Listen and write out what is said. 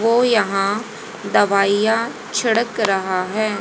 वो यहां दवाइयां छिड़क रहा है।